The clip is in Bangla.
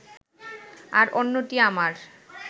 আর অন্যটি আমার